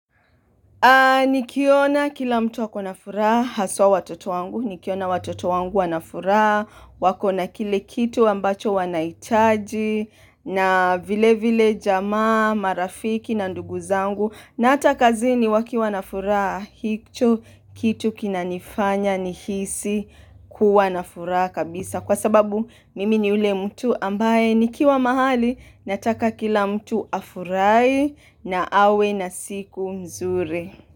Nikiona kila mtu ako na furaha, haswa watoto wangu, nikiona watoto wangu wanafuraha, wakona kile kitu ambacho wanahitaji, na vile vile jamaa, marafiki na ndugu zangu, na hata kazini wakiwa na furaha, hicho kitu kinanifanya nihisi kuwa na furaha kabisa. Kwa sababu mimi ni ule mtu ambaye nikiwa mahali nataka kila mtu afurahi na awe na siku mzuri.